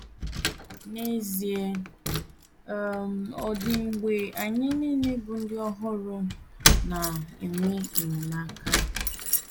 N’ezie, ọ um dị mgbe anyị nile bụ ndi ọhụrụ na - enwe enyemaka.